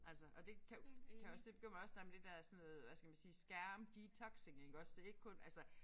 Altså og det kan jo kan jeg også se bekymrer mig også der med det der sådan noget øh hvad skal man sige skærm detoxing iggås det ikke kun altså